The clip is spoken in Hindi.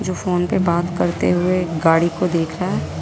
जो फोन पे बात करते हुए गाड़ी को देख रहा है।